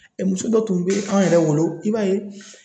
Muso dɔ tun be an yɛrɛ wolo, i b'a ye